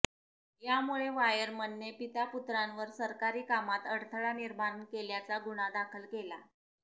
यामुळे वायरमनने पितापुत्रावर सरकारी कामात अडथळा निर्माण केल्याचा गुन्हा दाखल केला